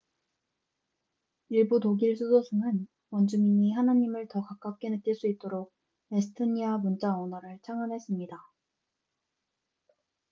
일부 독일 수도승은 원주민이 하나님을 더 가깝게 느낄 수 있도록 에스토니아 문자 언어를 창안했습니다